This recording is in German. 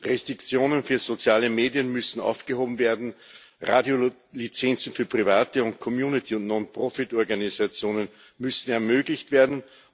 Restriktionen für soziale Medien müssen aufgehoben werden. Radiolizenzen für private und Community und Non-Profit-Organisationen müssen ermöglicht werden.